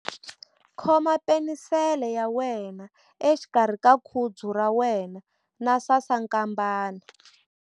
Khoma penisele ya wena exikarhi ka khudzu ra wena na sasankambana.